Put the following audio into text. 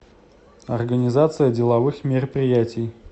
организация деловых мероприятий